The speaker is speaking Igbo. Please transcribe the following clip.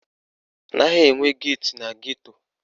Anaghị enwe geeti na geto